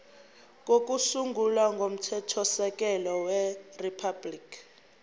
kokusungula komthethosisekelo weriphabhuliki